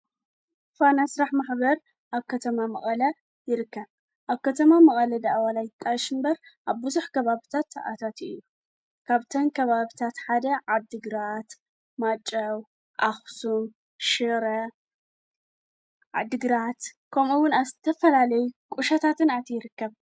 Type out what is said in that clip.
ፋና ስራሕ ማሕበር ኣብ ከተማ መቐለ ይርከብ። ኣብ ከተማ መቐለ ዋላ ደኣ ይጣየሽ እምበር ኣብዙሕ ከባቢታት ታኣታትዩ ካብተን ከባቢታት ሓደ ዓድግራት ማይጨው ኣክሱም ሽረ ዓድግራት ከምኡ'ውን ኣብ ዝተፈላለይ ቁሸታትን ኣቱ ይርከብ።